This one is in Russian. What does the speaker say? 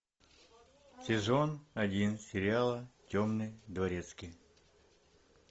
сезон один сериала темный дворецкий